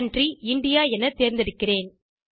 country India என தேர்ந்தெடுத்திருக்கிறேன்